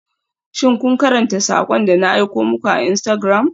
Shin kun karanta sakon da na aiko muku a Instagram?